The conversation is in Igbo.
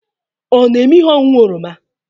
Ọ na-eme ihe ọṅụṅụ oroma?